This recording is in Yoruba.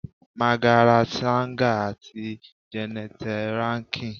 Magaret Sanger ati Jeannette Rankin